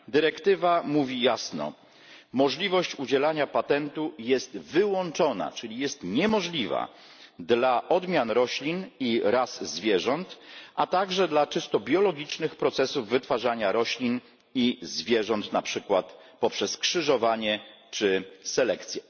Dyrektywa mówi jasno możliwość udzielania patentu jest wyłączona, czyli jest niemożliwa, dla odmian roślin i ras zwierząt, a także dla czysto biologicznych procesów wytwarzania roślin i zwierząt, na przykład poprzez krzyżowanie czy selekcję.